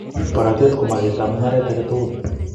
Borotet ko magetab mung'aret age tugul